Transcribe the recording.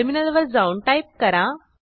टर्मिनलवर जाऊन टाईप करा